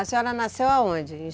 A senhora nasceu aonde?